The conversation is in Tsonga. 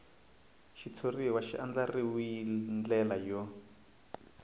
xitshuriwa xi andlariwil ndlela yo